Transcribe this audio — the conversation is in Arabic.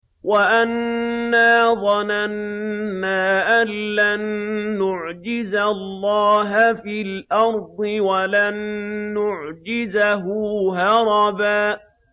وَأَنَّا ظَنَنَّا أَن لَّن نُّعْجِزَ اللَّهَ فِي الْأَرْضِ وَلَن نُّعْجِزَهُ هَرَبًا